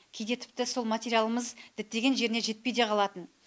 кейде тіпті сол материалымыз діттеген жеріне жетпей де қалатын